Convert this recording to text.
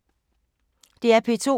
DR P2